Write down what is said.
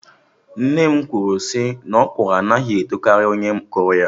Nne m na ekwu naỌkwụrụ anaghị etokarị onye kụrụ ya